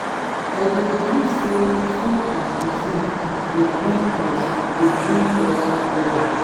i dey believe say food and cuisine dey bring us dey bring us together.